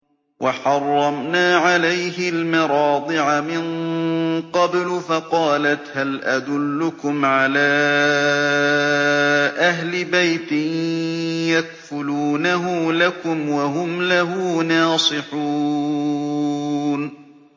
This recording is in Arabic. ۞ وَحَرَّمْنَا عَلَيْهِ الْمَرَاضِعَ مِن قَبْلُ فَقَالَتْ هَلْ أَدُلُّكُمْ عَلَىٰ أَهْلِ بَيْتٍ يَكْفُلُونَهُ لَكُمْ وَهُمْ لَهُ نَاصِحُونَ